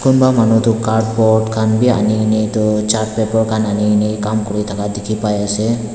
kunba manu tu cardboard kan b ani kina etu chart paper kan ani kina kam kuri daka diki pai ase.